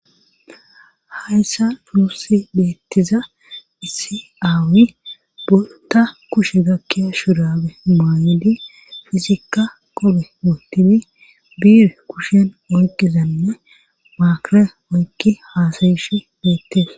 hayssa nusi beettiza isiaawi bolta kushe gakkiya shurabe maayidi fizikka qobe wootini biir kushen oyqizanne maakra oykki haasayishi beette